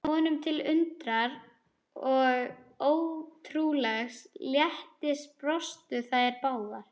Honum til undrunar og ótrúlegs léttis brostu þær báðar.